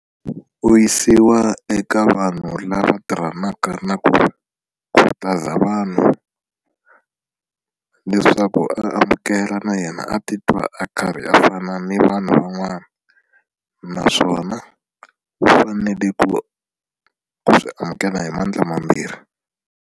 U yisiwa eka vanhu lava tirhanaka na ku khutaza vanhu leswaku a amukela na yena a titwa a karhi a fana ni vanhu van'wana naswona u fanele ku ku swi amukela hi mandla mambirhi.